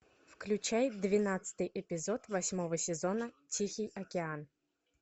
включай двенадцатый эпизод восьмого сезона тихий океан